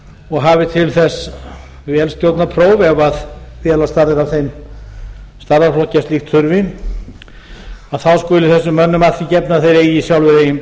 og hafi til þess vélstjórnarpróf ef félagsstarfið er af þeim stærðarflokki að slíkt þurfi þá skuli þessum mönnum að því gefnu að þeir eigi sjálfir eigin